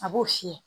A b'o fiyɛ